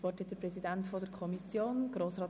Das Wort erhält der Kommissionspräsident.